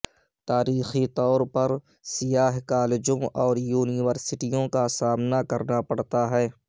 تاریخی طور پر سیاہ کالجوں اور یونیورسٹیوں کا سامنا کرنا پڑتا ہے